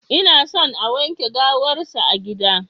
Inason a wanke gawar sa a gida.